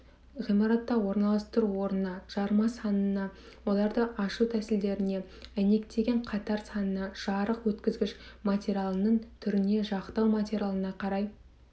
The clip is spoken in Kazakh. ғимаратта орналастыру орнына жарма санына оларды ашу тәсілдеріне әйнектеген қатар санына жарық өткізгіш материалының түріне жақтау материалына қарай